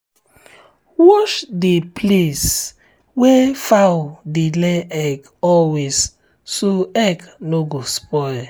wash the place um wey um fowl dey lay egg always so egg no go spoil.